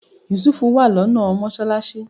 Yusuf wà lọ́nà mọ́sálásí